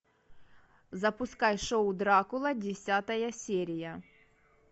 запускай шоу дракула десятая серия